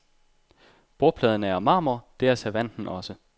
Bordpladen er af marmor, det er servanten også.